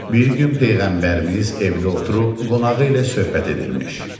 Bir gün Peyğəmbərimiz evdə oturub qonağı ilə söhbət edirmiş.